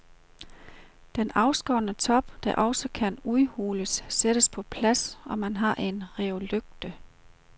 Den afskårne top, der også kan udhules, sættes på plads, og man har en roelygte.